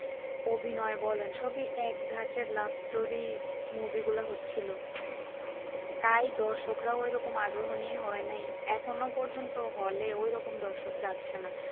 অভিনয় বলেন সবই এক ধরনের love story movie গুলা হচ্ছে লো তাই দর্শকরা ঐরকম আগ্রহ নিয়ে হয়নি এখনো পর্যন্ত hall এ ঐরকম দর্শক যাচ্ছে না।